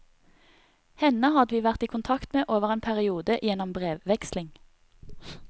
Henne hadde vi vært i kontakt med over en periode gjennom brevutveksling.